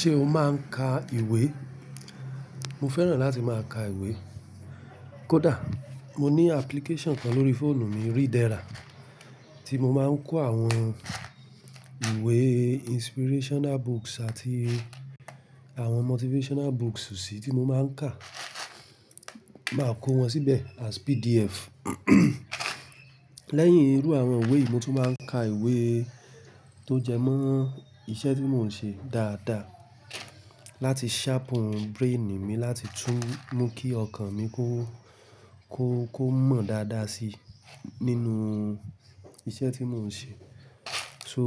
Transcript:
Ṣé o máa ń ka ìwé? Mo fẹ́ràn láti máa ka ìwé. Kódà mo ní application kan lórí fóònù mi, Readera, tí mo máa ń kó àwọn ìwé inspirational books àti àwọn motivational books sí tí mo máa ń kà, máa kó wọn síbẹ̀ as PDF. Lẹ́yìn irú àwọn ìwé, mo tún máa ń ka ìwé tó jẹmọ́ iṣẹ́ tí mò ń ṣe dáadáa láti sharpen brain mi láti tún mú kí ọkàn mi kó, kó, kó mọ̀ dáadáa si nínú iṣẹ́ tí mò ń ṣe. So